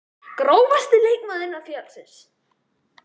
Grófasti leikmaður innan félagsins?